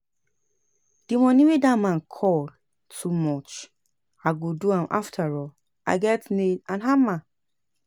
The money wey dat man call too much, I go do am afterall I get nail and hammer